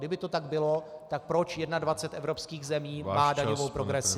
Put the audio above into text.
Kdyby to tak bylo, tak proč 21 evropských zemí má daňovou progresi?